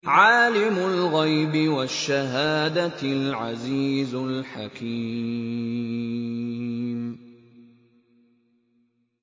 عَالِمُ الْغَيْبِ وَالشَّهَادَةِ الْعَزِيزُ الْحَكِيمُ